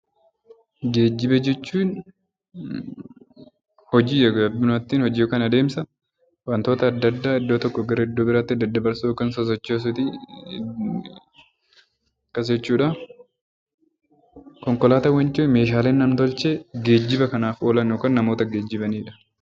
Geejjiba jechuun hojii yookiin adeemsa wantoota adda addaa iddoo tokkoo gara iddoo biraatti daddabarsuu yookaan sochoosuuti. Konkolaataawwan meeshaalee nam-tolchee geejjiba kanaaf oolan yookiin namoota geejjibanidha.